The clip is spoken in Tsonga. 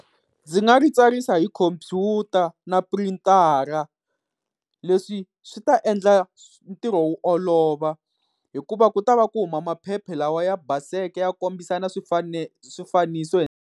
Ndzi nga ri tsarisa hi computer na printara, leswi swi ta endla ntirho wu olova hikuva ku ta va ku huma maphepha lawa ya baseke ya kombisa na swifaniso.